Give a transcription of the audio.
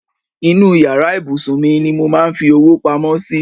Inú yàrá ìbùsùn mi ni mo máa ń fi owó pamọ́ sí.